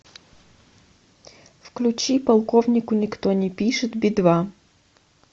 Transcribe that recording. включи полковнику никто не пишет би два